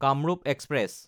Kamrup express